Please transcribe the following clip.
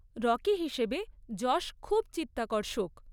Rocky হিসেবে যশ খুব চিত্তাকর্ষক।